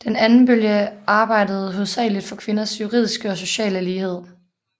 Den anden bølge arbejdede hovedsageligt for kvinders juridiske og sociale lighed